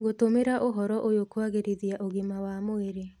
Ngũtũmĩra ũhoro ũyũ kũagĩrithia ũgima wa mwĩrĩ